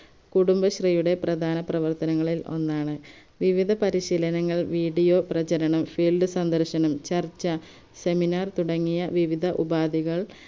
കുടുംബശ്രീയുടെ പ്രധാന പ്രവർത്തനങ്ങളിൽ ഒന്നാണ് വിവിധ പരിശീലനങ്ങൾ video പ്രചരണം field സന്ദർശനം ചർച്ച seminar തുടങ്ങിയ വിവിധ ഉപാധികൾ